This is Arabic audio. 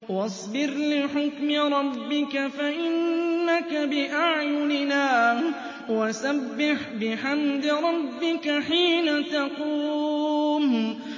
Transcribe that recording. وَاصْبِرْ لِحُكْمِ رَبِّكَ فَإِنَّكَ بِأَعْيُنِنَا ۖ وَسَبِّحْ بِحَمْدِ رَبِّكَ حِينَ تَقُومُ